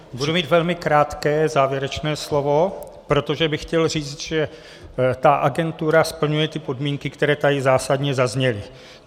Budu mít velmi krátké závěrečné slovo, protože bych chtěl říct, že ta agentura splňuje ty podmínky, které tady zásadně zazněly.